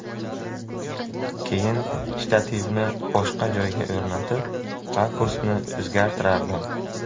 Keyin shtativni boshqa joyga o‘rnatib, rakursni o‘zgartirardim.